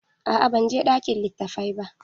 A'a ban je ɗakin litattafai ba.